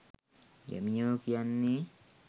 ගැමියෝ කියන්නේ